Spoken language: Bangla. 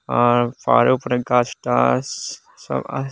আর পাহাড়ের উপরে গাছ টাছ সব আছে।